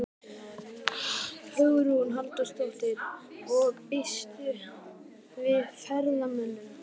Hugrún Halldórsdóttir: Og býstu við ferðamönnum?